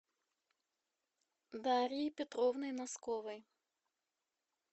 дарьей петровной носковой